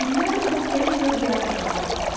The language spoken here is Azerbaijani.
Minlərlə xəstəlik və diaqnozlar mövcuddur.